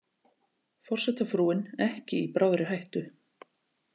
Forsetafrúin ekki í bráðri hættu